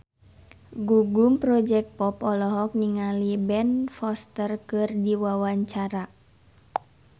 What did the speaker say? Gugum Project Pop olohok ningali Ben Foster keur diwawancara